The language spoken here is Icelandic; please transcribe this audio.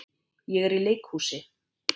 Ég er í leikhúsi.